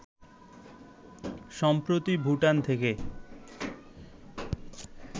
সম্প্রতি ভুটান থেকে